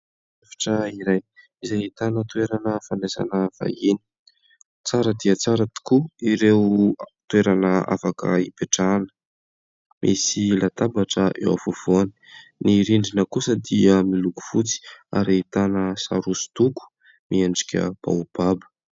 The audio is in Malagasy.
Efitra iray izay ahitana toerana fandraisana vahiny ; tsara dia tsara tokoa ireo toerana afaka hipetrahana ; misy latabatra eo afovoany. Ny rindrina kosa dia miloko fotsy ary ahitana sary hosodoko miendrika baobaba.